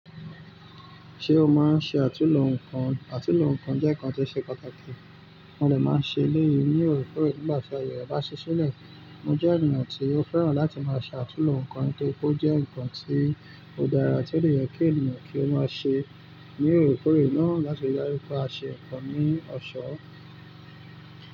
Ṣé o máa ń ṣe àtúlo nǹkan? Àtúlo nǹkan jẹ́ nǹkan tí ó ṣe pàtàkì, mo dè máa ṣe léyìí ní òre kórè nígbà tí aye rẹ bá ṣi ṣí lẹ̀. Mo jẹ́ ènìyàn tí ó fẹ́ràn láti máa ṣe àtúlo nǹkan nítorí pe ó jẹ́ nǹkan tí ó dára tí o dè yẹ kí ènìyàn kí ó máa ṣe ní òre kórè náà láti darí pé a ṣe nǹkan ní ọ̀ṣọ́